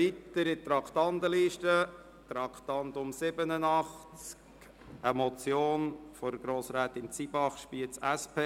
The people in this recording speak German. Wir kommen zum Traktandum 87, einer Motion von Grossrätin Zybach, Spiez, SP: